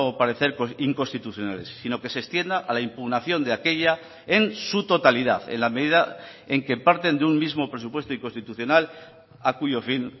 parecer inconstitucionales sino que se extienda a la impugnación de aquella en su totalidad en la medida en que parten de un mismo presupuesto inconstitucional a cuyo fin